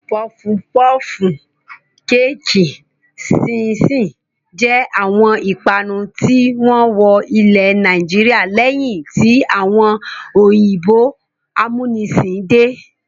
Pọfu pọfù, kéékì, ṣíín-ṣiìn jẹ́ àwọn ìpanu tí wọ́n wọ ilẹ̀ Nàìjíríà lẹ́yìn tí àwọn òyìnbó amúnisìn dé.